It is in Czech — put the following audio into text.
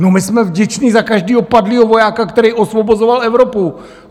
No my jsme vděční za každého padlého vojáka, který osvobozoval Evropu!